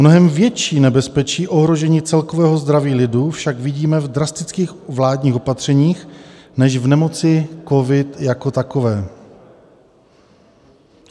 Mnohem větší nebezpečí ohrožení celkového zdraví lidu však vidíme v drastických vládních opatřeních než v nemoci covid jako takové."